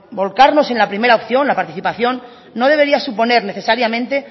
volcarnos en la primero opción en la participación no debería suponer necesariamente